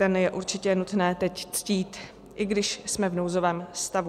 Ten je určitě nutné teď ctít, i když jsme v nouzovém stavu.